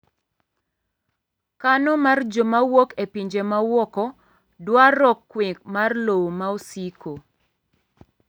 kano mar joma wuok e pinje mawuoko dwaro kwe mar lowo maosiko